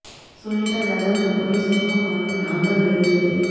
સુનિતા યાદવને પોલીસ ધક્કો મારીને અંદર લઇ ગઇ હતી